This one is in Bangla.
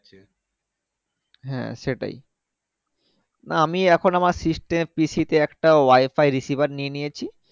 হ্যাঁ সেটাই না আমি এখন আমার system PC তে একটা wi-fi receiver নিয়ে নিয়েছি